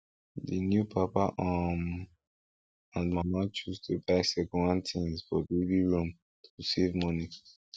di new papa um and mama choose to buy secondhand things for baby room to save money